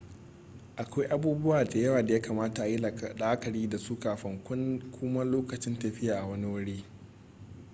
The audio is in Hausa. akwai abubuwa da yawa da ya kamata ayi la'akari da su kafin kuma lokacin tafiya wani wuri